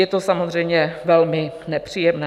Je to samozřejmě velmi nepříjemné.